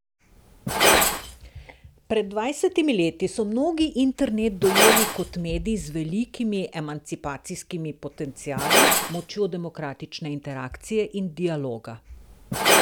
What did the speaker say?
Pred dvajsetimi leti so mnogi internet dojeli kot medij z velikimi emancipacijskimi potenciali, močjo demokratične interakcije in dialoga.